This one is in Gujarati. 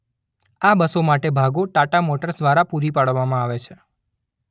આ બસો માટે ભાગો ટાટા મોટર્સ દ્વારા પૂરી પાડવામાં આવે છે.